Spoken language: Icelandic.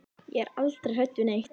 Ég er aldrei hrædd við neitt.